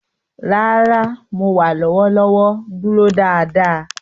Rara, Mo wa lọwọlọwọ duro daadaa.